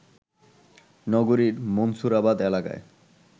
নগরীর মনসুরাবাদ এলাকায়